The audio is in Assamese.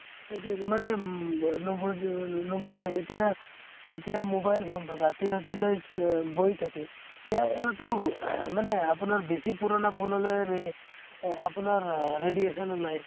সেইতোৱে মানে উম নোবু নুবোজে । এতিয়া, এতিয়া mobile phone তো ৰাতি ৰাতিলৈ আ বহি থাকে । ইয়াৰ পৰা তো মানে আপোনাৰ বেছি পুৰণা phone হʼলে ৰে আপোনাৰ আ radiation ওলাই ।